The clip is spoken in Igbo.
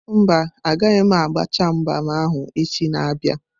Mba, agaghị m agbachaa mgbam ahụ echi na-abịa.